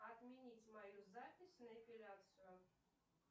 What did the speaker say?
отменить мою запись на эпиляцию